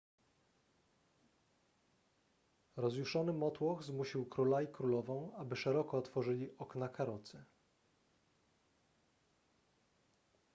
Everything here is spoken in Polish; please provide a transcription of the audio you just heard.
rozjuszony motłoch zmusił króla i królową aby szeroko otworzyli okna karocy